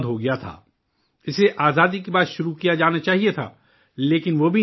اسے آزادی کے بعد شروع کیا جانا چاہیے تھا، لیکن وہ بھی نہیں ہو پایا